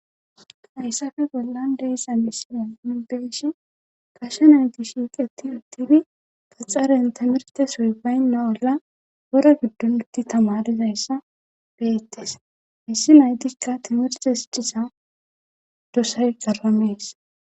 Hayssafe bollan deessa misine mubeshi kashe nayti shiiqeti uttifi paxaren timerte soy baynna olla ora giddunti tamarizayssa beettes issi naytikka timirte s disa dosay garamees.